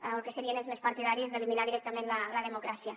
el que serien és més partidaris d’eliminar directament la democràcia